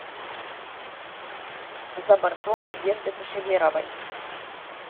за бортом надежды кашеверовой